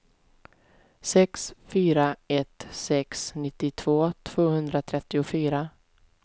sex fyra ett sex nittiotvå tvåhundratrettiofyra